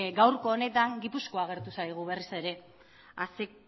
gaurko honetan gipuzkoa agertu zaigu berriz ere a ze